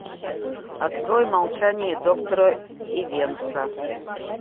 открой молчание доктора ивенса